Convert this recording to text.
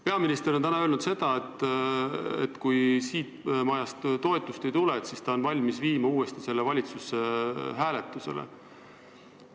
Peaminister on täna öelnud, et kui siit majast toetust ei tule, siis on ta valmis viima selle uuesti valitsusse hääletusele.